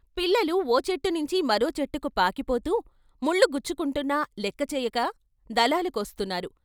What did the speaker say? పిల్లలు ఓ చెట్టు నించి మరో చెట్టుకు పాకిపోతూ ముళ్ళు గుచ్చుకుంటున్నా లెక్కచేయక దళాలు కోస్తున్నారు.